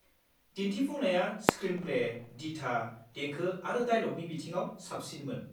दिन्थिफुंनाया स्क्रिनप्ले, दिथा, देंखो आरो दाइलगनि बिथिङाव साबसिनमोन।